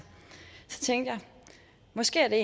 måske er det